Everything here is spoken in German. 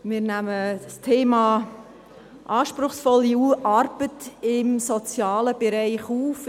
Wir nehmen das Thema anspruchsvolle Arbeit im sozialen Bereich auf.